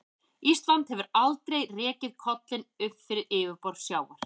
Ísland hefur aldrei rekið kollinn upp fyrir yfirborð sjávar.